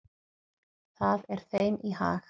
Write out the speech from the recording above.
Það er þeim í hag.